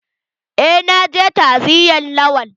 Eh na je ta'aziyan Lawan.